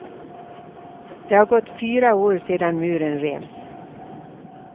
Det har gått fyra år sedan muren revs.